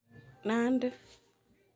Nandi